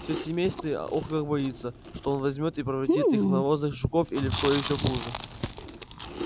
все семейство ох как боится что он возьмёт и превратит их в навозных жуков или в кого ещё хуже